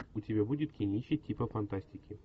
у тебя будет кинище типа фантастики